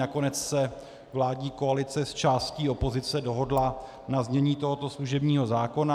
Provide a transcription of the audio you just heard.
Nakonec se vládní koalice s částí opozice dohodla na znění tohoto služebního zákona.